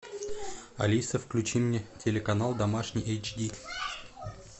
алиса включи мне телеканал домашний эйч ди